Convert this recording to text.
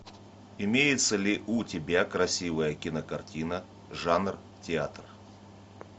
имеется ли у тебя красивая кинокартина жанр театр